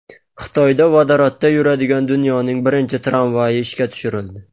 Xitoyda vodorodda yuradigan dunyodagi birinchi tramvay ishga tushirildi.